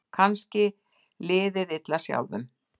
Kannski liðið illa sjálfum.